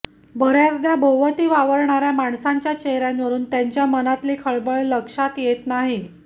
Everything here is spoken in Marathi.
बऱ्याचदा भोवती वावरणाऱ्या माणसांच्या चेहऱ्यावरून त्यांच्या मनातली खळबळ लक्षात येत नाही